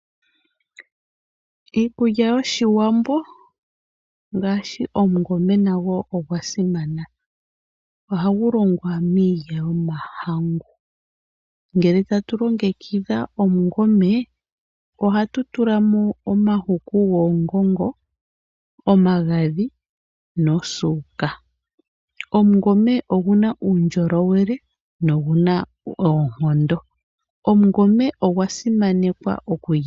Iikulya yoshiwambo mgaashi oshikwiila nasho osha simana. Ohagu longwa miilya yomahangu ngele tatu longekidha oshikwiila ohatu tulamo omahaku goongongo, omagadhi nosuuka. Oshikwiila oshina uundjolowele noonkondo.